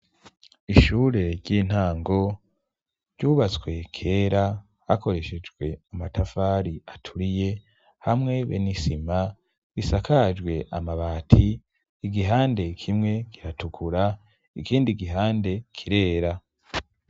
Ishure ry'intango, ryubatswe kera hakoreshejwe amatafari aturiye, hamwe be n'isima, bisakajwe amabati igihande kimwe kiratukura, ikindi gihande kirera.